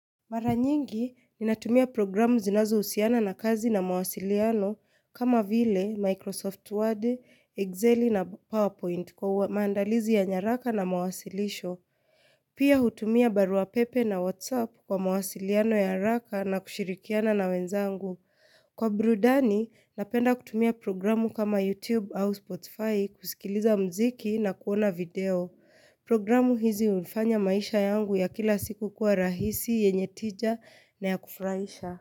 Mara nyingi, ninatumia programu zinazohusiana na kazi na mawasiliano kama vile Microsoft Word, Excel na PowerPoint kwa maandalizi ya nyaraka na mawasilisho. Pia hutumia barua pepe na WhatsApp kwa mawasiliano ya haraka na kushirikiana na wenzangu. Kwa burudani, napenda kutumia programu kama YouTube au Spotify kusikiliza mziki na kuona video. Programu hizi hunifanya maisha yangu ya kila siku kuwa rahisi, yenye tija na ya kufurahisha.